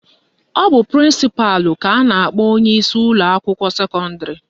Ọ bụ prịnsịpalụ ka a na-akpọ onyeisi ụlọakwụkwọ sekọndịrị